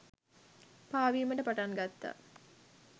පාවීමට පටන් ගත්තා.